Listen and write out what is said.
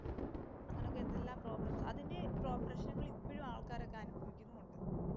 അങ്ങനെയൊക്കെ എന്തെല്ലാം പ്രോബ്ലംസ് അതിന്‍റെ പ്രശ്നങ്ങള്‍ ഇപ്പോഴും ആൾക്കാരൊക്കെ അനുഭവിക്കുന്നുമുണ്ട്.